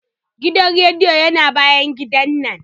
Gidan rediyon yana bayan gidana.